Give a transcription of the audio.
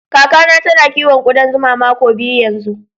Kaka na ta na kiwon kudan zuma mako biyu yanzu.